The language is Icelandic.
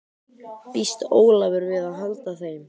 Býst Ólafur við að halda þeim?